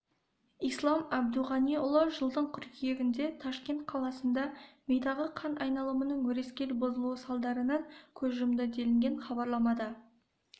ислам әбдуғаниұлы жылдың қыркүйегінде ташкент қаласында мидағы қан айналымының өрескел бұзылуы салдарынан көз жұмды делінген хабарламада